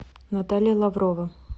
наталья лаврова